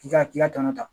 K'i ka k'i ka tɔnɔ ta